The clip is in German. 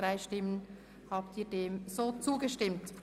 Somit ändern wir die Redezeiten ab heute.